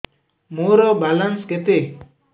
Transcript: ମୋର ବାଲାନ୍ସ କେତେ